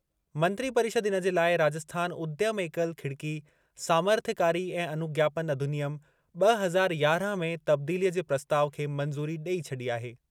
मंत्रिपरिषद इन जे लाइ राजस्थान उद्यम एकल खिड़की सामर्थ्यकारी ऐं अनुज्ञापन अधिनियम ब॒ हज़ार यारहं में तब्दीलीअ जे प्रस्ताउ खे मंज़ूरी ॾेई छॾी आहे।